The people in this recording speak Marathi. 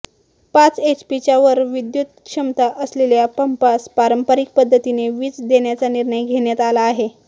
पाच एचपीच्या वर विद्युत क्षमता असलेल्या पंपास पारंपरिक पद्धतीने वीज देण्याचा निर्णय घेण्यात आला आहे